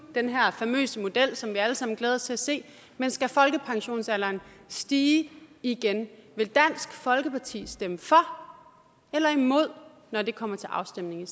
den her famøse model som vi alle sammen glæder os til at se men skal folkepensionsalderen stige igen vil dansk folkeparti stemme for eller imod når det kommer til afstemning